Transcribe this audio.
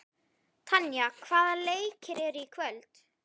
Tanya, hvaða leikir eru í kvöld?